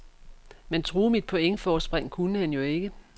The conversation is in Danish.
Men true mit pointforspring kunne han jo ikke.